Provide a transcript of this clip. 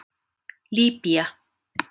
Líbýa